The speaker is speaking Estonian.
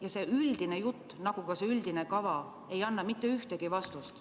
Ja see üldine jutt nagu ka see üldine kava ei anna mitte ühtegi vastust.